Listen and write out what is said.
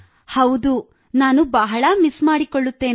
ಹೌದು ನಾನು ಬಹಳ ಮಿಸ್ ಮಾಡಿಕೊಳ್ಳುತ್ತೇನೆ